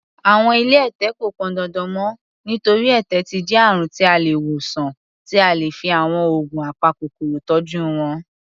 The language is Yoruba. Àwọn ilé ẹ̀tẹ̀ kò pọndandan mọ́, nítorí, ẹ̀tẹ̀ ti jẹ́ àrùn tí a lè wòsàn tí a lè fi àwọn oògùn apakòkòrò tọ́jú wọn.